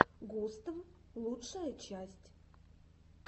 густв лучшая часть